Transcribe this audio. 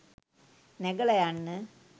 නැගලා යන්න